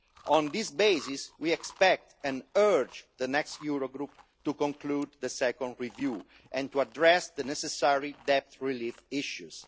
On this basis, we expect and urge the next Eurogroup to conclude the second review and to address the necessary debt relief issues.